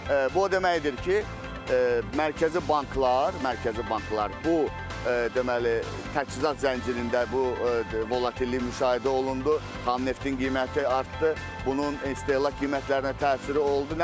Bu o deməkdir ki, mərkəzi banklar, mərkəzi banklar bu deməli, təchizat zəncirində bu volatillik müşahidə olundu, xam neftin qiyməti artdı, bunun istehlak qiymətlərinə təsiri oldu.